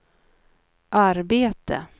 arbete